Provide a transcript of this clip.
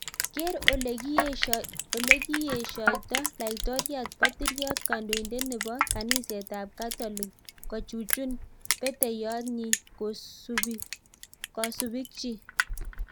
Keer olee kieshoitoo laitoriat patiriot kandoindet nepo kaniset ap katolik kochuchun peteiyot nyii kasupik chik